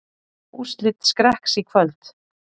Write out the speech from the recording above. Úrslit Skrekks í kvöld